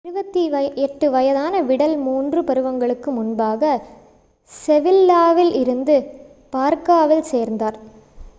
28 வயதான விடல் மூன்று பருவங்களுக்கு முன்பாக செவில்லாவில் இருந்து பார்காவில் சேர்ந்தார்